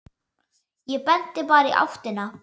Ég benti bara í áttina.